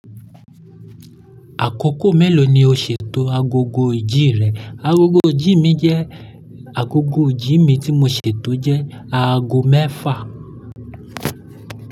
Àkókò mélòó ni o ṣètò agogo ìjì rẹ? Agogo ìjì mi jẹ́ agogo ìjì mi tí mo ṣètò jẹ́ aago mẹ́fà.